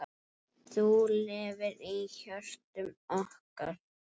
Þú lifir í hjörtum okkar.